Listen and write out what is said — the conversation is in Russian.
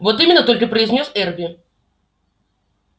вот именно только произнёс эрби